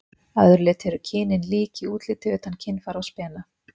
Að öðru leyti eru kynin lík í útliti utan kynfæra og spena.